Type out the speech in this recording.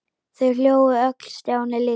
Þau hlógu öll- Stjáni líka.